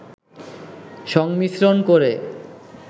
সংমিশ্রন করে